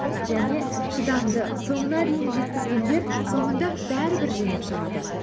және шыдамды соңына дейін жеткізгендер соңында бәрібір жеңіп шығады